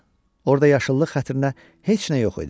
Orda yaşıllıq xətrinə heç nə yox idi.